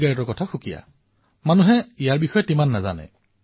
ইচিগাৰেটক লৈ জনসাধাৰণৰ মাজত ইমান সজাগতাৰ সৃষ্টি হোৱা নাই